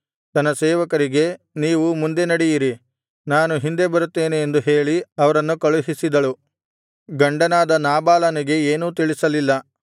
ತನ್ನ ಸೇವಕರಿಗೆ ನೀವು ಮುಂದೆ ನಡೆಯಿರಿ ನಾನು ಹಿಂದೆ ಬರುತ್ತೇನೆ ಎಂದು ಹೇಳಿ ಅವರನ್ನು ಕಳುಹಿಸಿದಳು ಗಂಡನಾದ ನಾಬಾಲನಿಗೆ ಏನೂ ತಿಳಿಸಲಿಲ್ಲ